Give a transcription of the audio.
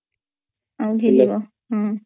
ଆଉ ଭିଯିବ ହଁ